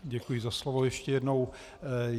Děkuji za slovo ještě jednou.